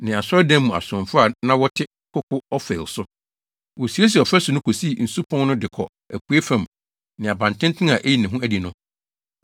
ne asɔredan mu asomfo a na wɔte koko Ofel so. Wosiesiee ɔfasu no kosii Nsu Pon no de kɔ apuei fam ne abantenten a eyi ne ho adi no.